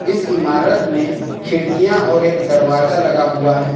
इस इमारत में खिड़कियां और एक दरवाजा लगा हुआ है।